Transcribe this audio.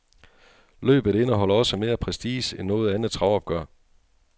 Løbet indeholder også mere prestige end noget andet travopgør.